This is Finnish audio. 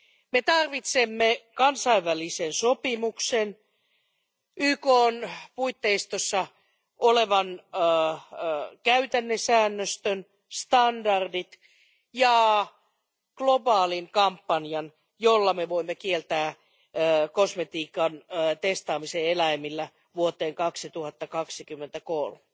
Me tarvitsemme kansainvälisen sopimuksen, YKn puitteissa olevan käytännesäännöstön, standardit ja globaalin kampanjan, jolla me voimme kieltää kosmetiikan testaamisen eläimillä vuoteen 2023